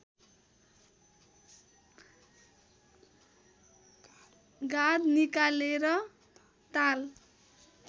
गाद निकालेर ताल